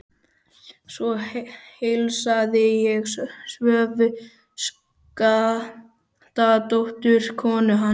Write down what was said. Svo heilsaði ég Svövu Skaftadóttur, konu hans.